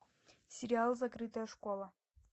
сериал закрытая школа